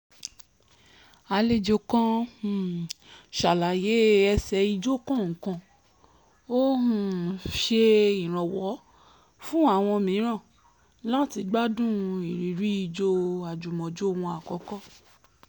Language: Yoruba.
àlejò kan um ṣàlàyé ẹsẹ̀ ijó kọ̀ọ̀kan ó um ń ṣe ìrànwọ́ fún àwọn mìíràn láti gbádùn ìrírí ijó àjùmọ̀jó wọn àkọ́kọ́